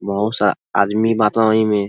बहुत सा आदमी बातं ओई में --